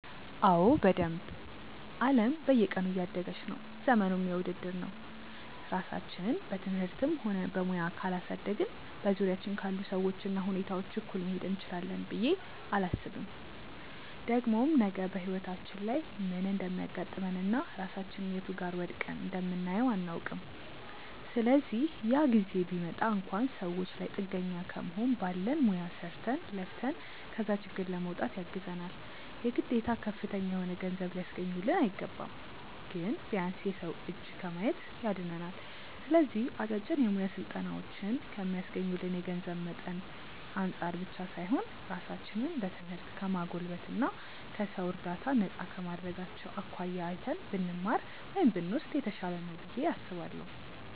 አዎ በደንብ። አለም በየቀኑ እያደገች ነው፤ ዘመኑም የውድድር ነው። ራሳችንን በትምህርትም ሆነ በሙያ ካላሳደግን በዙሪያችን ካሉ ሰዎች እና ሁኔታዎች እኩል መሄድ እንችላለን ብዬ አላስብም። ደግሞም ነገ በህይወታችን ላይ ምን እንደሚያጋጥመን እና ራሳችንን የቱ ጋር ወድቀን እንደምናየው አናውቅም። ስለዚህ ያ ጊዜ ቢመጣ እንኳን ሰዎች ላይ ጥገኛ ከመሆን ባለን ሙያ ሰርተን፣ ለፍተን ከዛ ችግር ለመውጣት ያግዘናል። የግዴታ ከፍተኛ የሆነ ገንዘብ ሊያስገኙልን አይገባም። ግን ቢያንስ የሰው እጅ ከማየት ያድነናል። ስለዚህ አጫጭር የሙያ ስልጠናዎችን ከሚስገኙልን የገንዘብ መጠን አንፃር ብቻ ሳይሆን ራሳችንን በትምህርት ከማጎልበት እና ከሰው እርዳታ ነፃ ከማድረጋቸው አኳያ አይተን ብንማር (ብንወስድ) የተሻለ ነው ብዬ አስባለሁ።